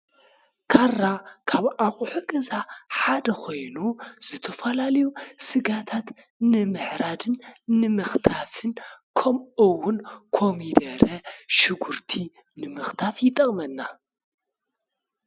ካራ ካብ ኣቁሑ ገዛ ሓደ ኾይኑ ንዝተፈላለዩ ስጋታት ንምሕራድን ንምኽታፍን ከሙኡ እውን ኮሚደረን ሸጉርቲን ንምኽታፍ ይጠቅም።